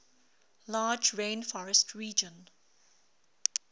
large rainforest region